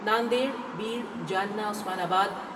نادیڑ ،بیڑ، جالنہ ،عثمان آباد